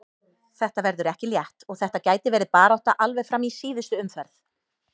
Þetta verður ekki létt og þetta gæti verið barátta alveg fram í síðustu umferð.